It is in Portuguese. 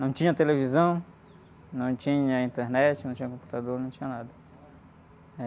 Não tinha televisão, não tinha internet, não tinha computador, não tinha nada, né?